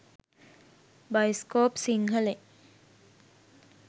෴bioscope සිංහලෙන්෴